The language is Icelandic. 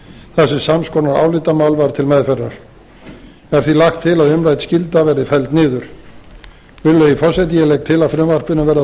þar sem sams konar álitamál var til meðferðar er því lagt til að umrædd skylda verði felld niður virðulegi forseti ég legg til að frumvarpinu verði